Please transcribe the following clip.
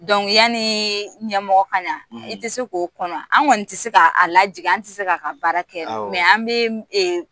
ya niii ɲɛmɔgɔ ka na i tɛ se k'o kɔnɔ an? An kɔnni tɛ se k'a a lajigin an tɛ se k' a ka baara kɛ; Awɔ; an bɛ mun eee